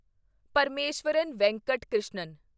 Parameswaran Venkat Krishnan